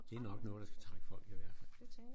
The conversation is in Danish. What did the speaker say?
Det er nok noget der skal trække folk i hvert fald